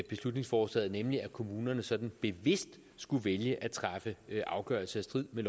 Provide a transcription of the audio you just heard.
beslutningsforslaget nemlig at kommunerne sådan bevidst skulle vælge at træffe afgørelser i strid med